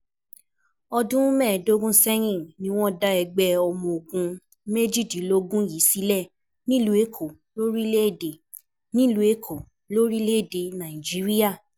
Ọdún mẹ́ẹ̀ẹ́dógún sẹ́yìn ni wọ́n dá ẹgbẹ́ ọmọ ogun méjìdínlógún yìí sílẹ̀ nílùú Èkó, lórílẹ̀-èdè nílùú Èkó, lórílẹ̀-èdè Nàìjíríà.